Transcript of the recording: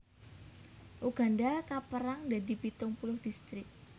Uganda kapérang dadi pitung puluh distrik